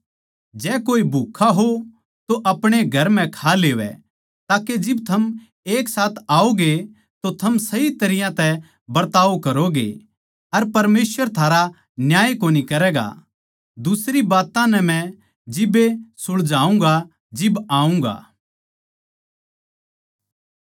जै कोए भुक्खा हो तो अपणे घर म्ह खा लेवै ताके जिब थम एक साथ आओगे तो थम सही तरियां तै बरताव करोगे अर परमेसवर थारा न्याय कोनी करैगा दुसरी बात्तां नै मै जिब्बे सुलझाऊँगा जिब आऊँगा